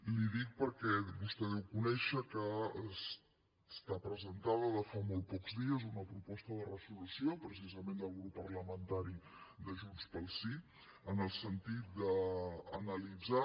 li ho dic perquè vostè deu conèixer que està presentada de fa molts pocs dies una proposta de resolució precisament del grup parlamentari de junts pel sí en el sentit d’analitzar